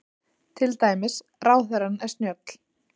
Til dæmis, Ráðherrann er snjöll.